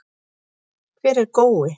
Hver er Gói?